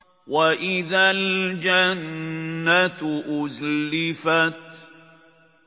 وَإِذَا الْجَنَّةُ أُزْلِفَتْ